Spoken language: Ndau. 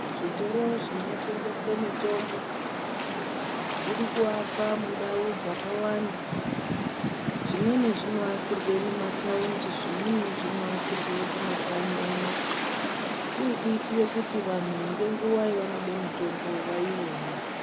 Zvitoro zvinotengeswe mitombo zviri kuakwa mundau dzakawanda zvimweni zvinoakirwe mumathaundi zvimweni zvinoakirwe kumakanyi uno kuri kuitire kuti vanhu ngenguwa yavanode mitombo vaione.